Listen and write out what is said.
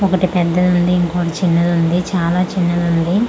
ఒకటి పెద్దదుంది ఇంకోటి చిన్నదుంది చాలా చిన్నదుంది ఆ--